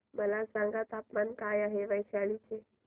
मला सांगा तापमान काय आहे वैशाली चे